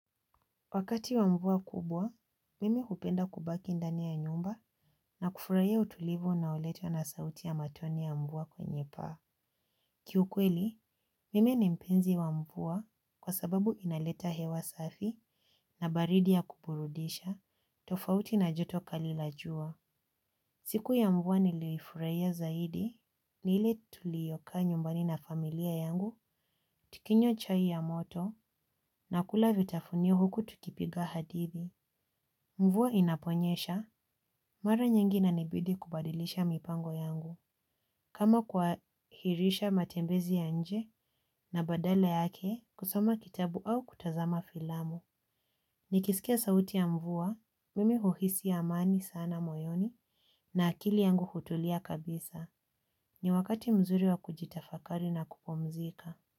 Wakati wa mvua kubwa, mimi hupenda kubaki ndani ya nyumba na kufurahia utulivu unaoletwa na sauti ya matone ya mvua kwenye paa. Kiukweli, mimi ni mpenzi wa mvua kwa sababu inaleta hewa safi na baridi ya kuburudisha, tofauti na joto kali la jua. Siku ya mvua nilifurahia zaidi ni ile tuliyokaa nyumbani na familia yangu tukinywa chai ya moto na kula vitafunio huku tukipiga hadithi. Mvua inaponyesha, mara nyingi inanibidi kubadilisha mipango yangu. Kama kuhahirisha matembezi ya nje na badala yake, kusoma kitabu au kutazama filamu. Nikisikia sauti ya mvua, mimi huhisi amani sana moyoni na akili yangu hutulia kabisa. Ni wakati mzuri wa kujitafakari na kupumzika.